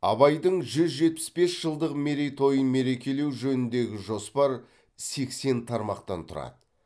абайдың жүз жетпіс бес жылдық мерейтойын мерекелеу жөніндегі жоспар сексен тармақтан тұрады